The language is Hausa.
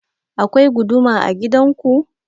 Akwai guduma a gidan ku?